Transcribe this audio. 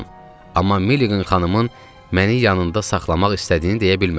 Amma Meliqan xanımın məni yanında saxlamaq istədiyini deyə bilmədim.